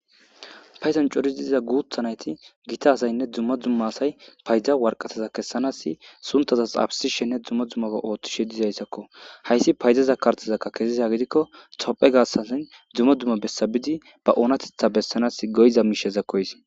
Payzan cori diiza guuthanayti gita hazaynne dumma dzumma asay payda warqataza kessanaasi suntaza xaabsishenne dzumma dzummaa ooththishe dizayssakko hayssi payzaza kartazakka kesiza gidikko tophe gassazin dzumma dumma bessabidi ba oonatetha bessanas goyza miisheza koys